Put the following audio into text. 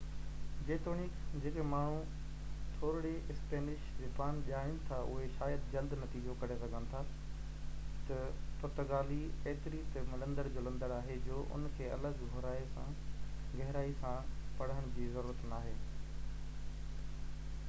جيتوڻيڪ جيڪي ماڻهو ٿورڙي اسپينش زبان ڄاڻين ٿا اهي شايد جلدي نتيجو ڪڍي سگهن ٿا ته پرتگالي ايتري ته ملندڙ جهلندڙ آهي جو اِن کي الڳ گهرائي سان پڙهڻ جي ضرورت ناهي